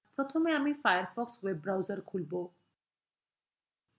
প্রথমে আমি Firefox web browser খুলবো